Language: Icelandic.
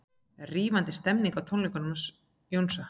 Rífandi stemning á tónleikum Jónsa